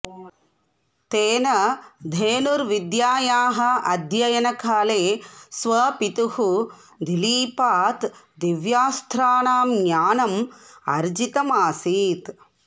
तेन धनुर्विद्यायाः अध्ययनकाले स्वपितुः दिलीपात् दिव्यास्त्राणां ज्ञानम् अर्जितम् असीत्